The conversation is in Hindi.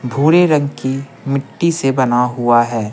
भूरे रंग की मिट्टी से बना हुआ है।